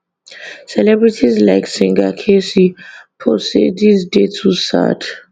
celebrities like singer kcee post say dis dey too sad